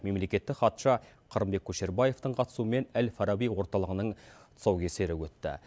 мемлекеттік хатшы қырымбек көшербаевтың қатысуымен әл фараби орталығының тұсаукесері өтті